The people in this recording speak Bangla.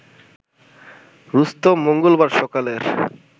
রুস্তম মঙ্গলবার সকালের